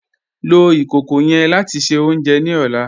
Lọ ikókó yẹ́n láti ṣẹ ọ̀unjẹ ní ọ̀là